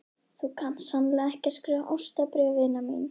Þú kant sannarlega að skrifa ástarbréf, vina mín.